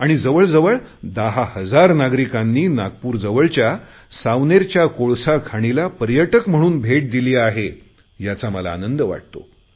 आणि जवळ जवळ दहा हजार नागरिकांनी नागपूरजवळच्या सावनेरच्या कोळसा खाणीला पर्यटक म्हणून भेट दिली आहे याचा मला आनंद होत वाटतो